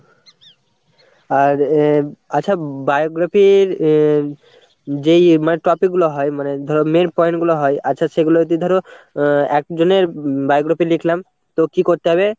আর আহ আচ্ছা বায়োগ্রাফির আহ যেই মানে topic গুলো হয়, মানে ধরো Main point গুলো হয় আচ্ছা সেগুলো যদি ধরো আহ একজনের biography লিখলাম, তো কি করতে হবে?